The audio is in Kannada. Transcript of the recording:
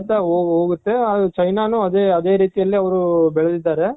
ಹೋಗುತ್ತೆ ಅದು china ನು ಅದೇ ರೀತಿ ಅಲ್ಲಿ ಅವ್ರು ಬೆಳ್ದಿದಾರೆ.